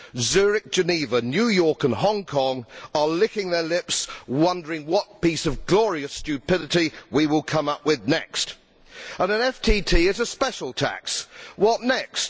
Zurich, Geneva, New York and Hong Kong are licking their lips wondering what piece of glorious stupidity we will come up with next. An FTT is a special tax, so what next?